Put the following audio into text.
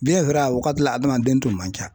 a wagati la hadamaden tun man ca